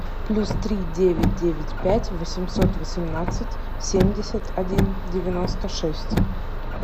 плюс три девять девять пять восемьсот восемнадцать семьдесят один девяносто шесть